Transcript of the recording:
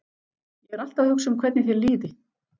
Ég er alltaf að hugsa um hvernig þér líði.